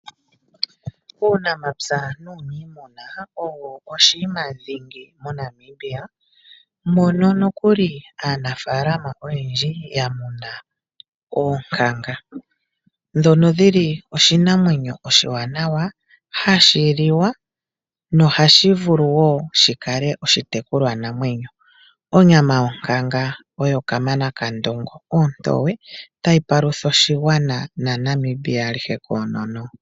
Uunamapya nuunimuna owo oshiima dhingi moNamibia. Mono nokuli aanafaalama oyendji ya muna oonkanga. Dhono dhili oshinamwenyo oshiwanawa hashi liwa, noha shi vulu woo shikale oshitekulwanamwenyo. Onyama yonkanga oyo Kamana kaNdongo, ontowe, tayi palutha oshigwana naNamibia alihe koonono.